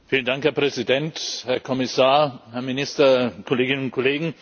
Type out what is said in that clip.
Herr Präsident, Herr Kommissar, Herr Minister, Kolleginnen und Kollegen!